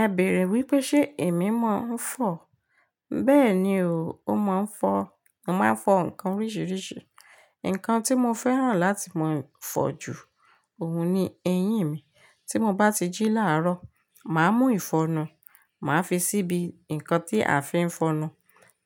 Ẹ bèèrè wípé ṣe èmi máa ń fọ̀? Bẹ́ẹ̀ni o, ó máa ń fọ̀. Mo máa ń fọ nǹkan oríṣiríṣi. Nǹkan tí mo fẹ́ràn láti máa ń fọ̀ jù òun ni eyín mi. Tí mo bá ti jí láàárọ̀, màá mú ìfọnu, màá fi síbi nǹkan tí a fi ń fọnu,